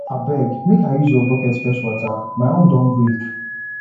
abeg make i use your bucket fetch water my own don break